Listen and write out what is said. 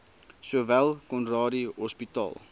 sowel conradie hospitaal